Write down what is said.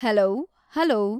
hello hello